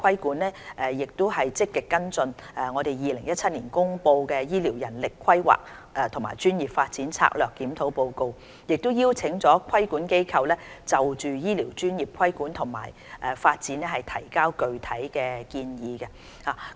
我們亦積極跟進政府於2017年公布的《醫療人力規劃和專業發展策略檢討報告》，已邀請規管機構就醫療專業的規管及發展提交具體建議。